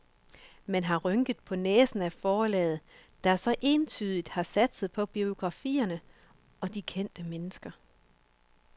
Man har rynket på næsen af forlaget, der så entydigt har satset på biografierne og de kendte mennesker.